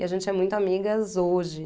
E a gente é muito amigas hoje.